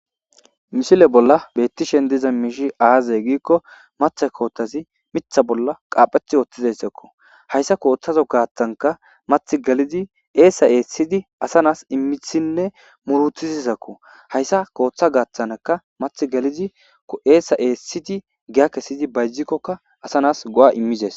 mishile bolla beettishen diza miishi aazay giikko matha kootazi mitha bolla qaapheth wothtizayssakko hayssa kooththazo gaattanka math galidi eesa eessidi asa nas immisinne murutizisakko hayssa kooththa gaattanka math galidi ko7eesa eessidi giyakesidi bayjikkokka asa nas go7a immizes